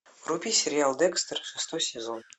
вруби сериал декстер шестой сезон